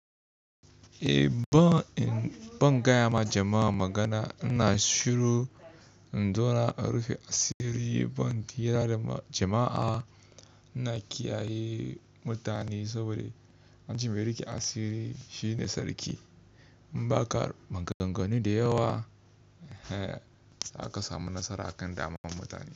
Ban gaya ma jama'a magana, ina shiru in zo na rufe asiri. Ban hira da jama'a, ina kiyaye mutane saboda anjima ya rike asiri shine sarki. In ba ka maganganu da yawa, za ka samu nasara akan damar mutane.